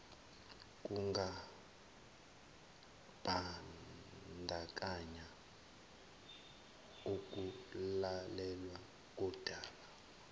kungambandakanya ukulalelwa kondaba